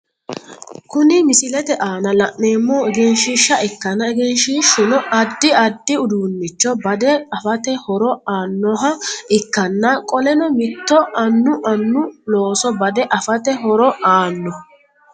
Kunni misilete aanna la'neemohu egenshiisha ikkanna egenshishuno addi addi uduunicho bade afate horo aanoha ikanna qoleno mitto Annu Annu looso bade afate horo aano.